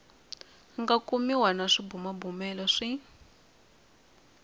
nga kumiwa na swibumabumelo swi